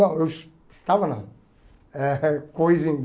Não, eu estava não, eh corrigindo.